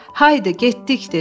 Haydı, getdik!